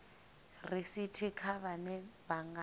risithi kha vhane vha nga